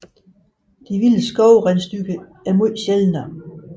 De vilde skovrensdyr er langt sjældnere